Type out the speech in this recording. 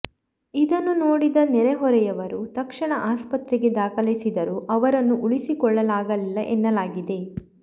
ಇದನ್ನು ನೋಡಿದ ನೆರೆಹೊರೆಯವರು ತಕ್ಷಣ ಆಸ್ಪತ್ರೆಗೆ ದಾಖಲಿಸಿದರೂ ಅವರನ್ನು ಉಳಿಸಿಕೊಳ್ಳಲಾಗಲಿಲ್ಲ ಎನ್ನಲಾಗಿದೆ